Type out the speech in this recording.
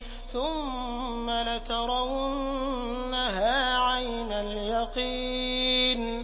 ثُمَّ لَتَرَوُنَّهَا عَيْنَ الْيَقِينِ